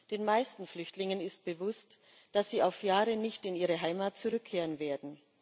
Den meisten Flüchtlingen ist bewusst, dass sie auf Jahre nicht in ihre Heimat zurückkehren werden.